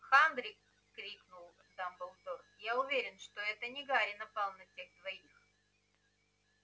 хагрид крикнул дамблдор я уверен что это не гарри напал на тех двоих